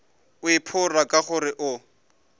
o iphora ka gore o